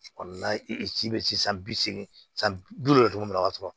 Kɔni na i si bɛ se san bi seegin san bi duuru de tɔgɔ min na ka sɔrɔ